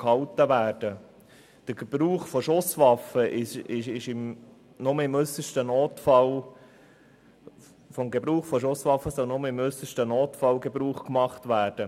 Von Schusswaffen soll nur im äussersten Notfall Gebrauch gemacht werden.